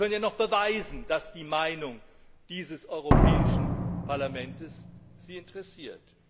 Sie können ja noch beweisen, dass die Meinung des Europäischen Parlaments Sie interessiert.